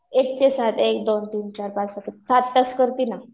एक ते सात एक, दोन, तीन, चार, पाच, सहा, सात सात तास करते ना.